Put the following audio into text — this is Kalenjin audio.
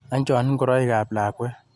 Ancho ngoroikab lakwet.